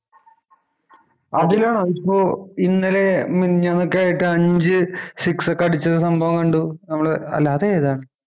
അതിലാണോ ഇപ്പൊ ഇന്നലെ മിനിഞ്ഞാന്ന് ഒക്കെ ആയിട്ട് അഞ്ച് six ഒക്കെ അടിച്ച സംഭവം കണ്ടു നമ്മള് അല്ല അത് ഏതാ